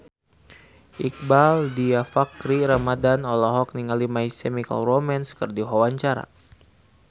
Iqbaal Dhiafakhri Ramadhan olohok ningali My Chemical Romance keur diwawancara